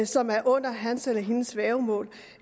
som er under hans eller hendes værgemål